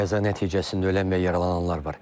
Qəza nəticəsində ölən və yaralananlar var.